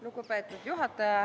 Lugupeetud juhataja!